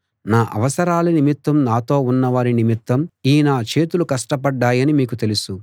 నా అవసరాల నిమిత్తం నాతో ఉన్నవారి నిమిత్తం ఈ నా చేతులు కష్టపడ్డాయని మీకు తెలుసు